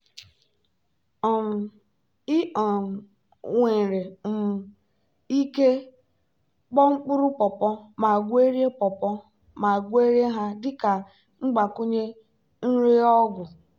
um ị um nwere um ike kpoo mkpụrụ pawpaw ma gwerie pawpaw ma gwerie ha dị ka mgbakwunye nri ọgwụ.